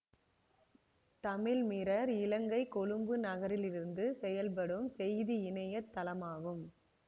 தமிழ்மிரர் இலங்கை கொழும்பு நகரிலிருந்து செயல்படும் செய்தி இணைய தளமாகும்